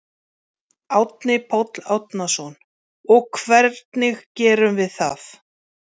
Árni Páll Árnason: Og hvernig gerum við það?